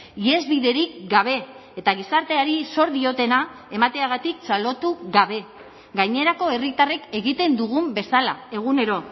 ihesbiderik gabe eta gizarteari zor diotena emateagatik txalotu gabe gainerako herritarrek egiten dugun bezala egunero